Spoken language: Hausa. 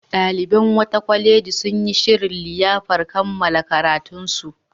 Ɗaliban wata kwaleji sun shirya liyafar kammala karatunsu.